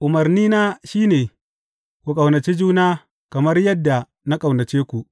Umarnina shi ne, Ku ƙaunaci juna kamar yadda na ƙaunace ku.